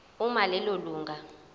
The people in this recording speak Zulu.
uma lelo lunga